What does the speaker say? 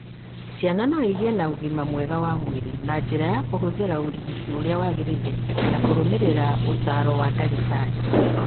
Ciana no igĩe na ũgima mwega wa mwĩrĩ na njĩra ya kũhũthĩra ũrigiti ũrĩa wagĩrĩire na kũrũmĩrĩra ũtaaro wa ndagĩtarĩ.